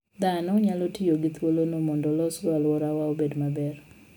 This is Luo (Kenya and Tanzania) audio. Dhano nyalo tiyo gi thuolono mondo olosgo alworawa obed maber.